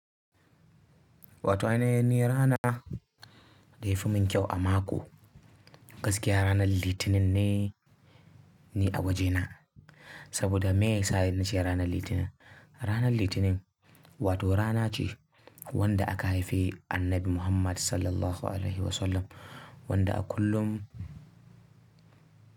Wato ainihin ni rana da yafi mun kyau a mako, gaskiya ranar Litinin ne, ni a wajena saboda may sa na ce ranar Litinin. Ranar Litinin wato rana ce wanda aka haife annabi Muhammad SAW wanda a kullum.